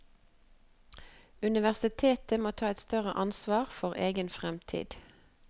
Universitetet må ta et større ansvar for egen fremtid.